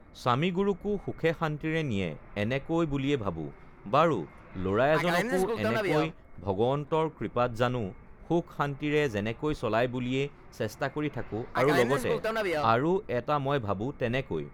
স্বামীগুৰুকো সুখে শান্তিৰে নিয়ে এনেকৈ বুলিয়ে ভাবোঁ বাৰু ল'ৰা এজনকো এনেকৈ ভগৱন্তৰ কৃপাত জানো সুখ-শান্তিৰে যেনেকৈ চলাই বুলিয়ে চেষ্টা কৰি থাকোঁ আৰু লগতে আৰু এটা মই ভাবোঁ তেনেকৈ